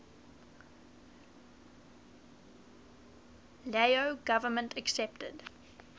lao government accepted